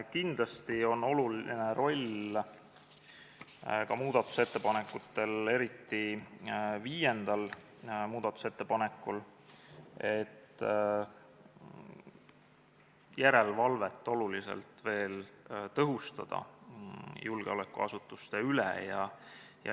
Kindlasti on oluline roll eriti viiendal muudatusettepanekul, et järelevalvet julgeolekuasutuste üle oluliselt tõhustada.